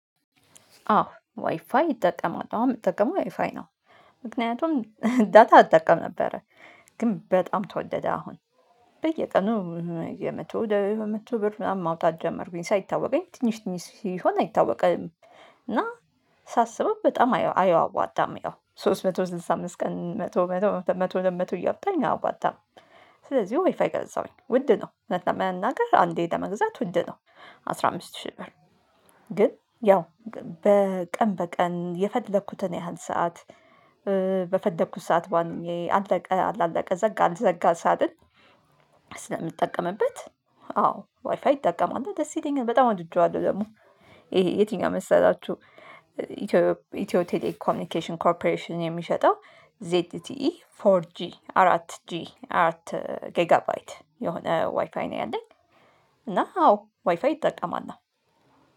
አዎ ዋይፋይ ይጠቀማለሁ አሁን የምትጠቀመው ዋይፋይ ነው ምክንያቱም ዳታ እጠቀም ነበረ ግን በጣም ተወደደ አሁን በየቀኑ የመቶ ወደ ሁለት መቶ ብር ማውጣት ጀመርኩኝ ሳይታወቀኝ ትንሽ ትንሽ ሲሆን አይታወቅም። እና ሳስበው በጣም አየው አያዋጣም ያው ሶስት መቶ ስልሳ አምስት ቀን መቶ መቶ ሁለትመቶ መቶ ሁለት መቶ እያወጣኝ አዋጣም። ስለዚህ ወይፋ የገዛሁኝ ውድ ነው። እውነት ለመናገር አንዴ ለመግዛት ውድ ነው። አስራ አምስት ሺህ ብር። ግን ያው በቀን የፈደኩትን ያህል ሰዓት በፈለኩት ሰዓት ባንኜ አለቀ አላለቀ ዘጋ አልዘጋ ሳልል ስለምጠቀምበት። አዎ ዋይፋይ ይጠቀማለሁ ደስ ይለኛል በጣም ወድጄዋለሁ። ደግሞ ይሄ የትኛው መሰላችሁ? ኢትዮ ኢትዮ ቴሌ ኮሚኒኬሽን ኮርፖሬሽን የሚሸጠው ዜት ቲ ኢ ፎር ጂ አራት ጂ አራት ጌጋባይት የሆነ ዋይፋይ ነው ያለኝ። እና አዎ ዋይፋይ ይጠቀማል